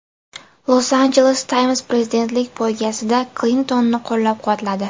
Los Angeles Times prezidentlik poygasida Klintonni qo‘llab-quvvatladi.